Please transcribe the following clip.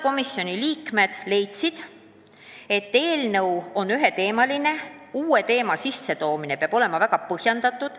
Komisjoni liikmed leidsid, et praegune eelnõu on üheteemaline, uue teema sissetoomine peab olema väga põhjendatud.